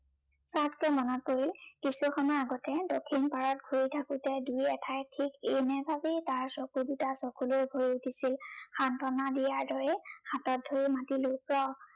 চাৎকে মনত পৰিল, কিছু সময়ৰ আগতে দক্ষিণ পাৰত ঘূৰী থাকোতে দুই এঠাইত ঠিক এনেভাবেই তাৰ চকু দুটা চকুলোৰে ভৰি উঠিছিল। সান্তনা দিয়াৰ দৰে হাতত ধৰি মাতলো ৰহ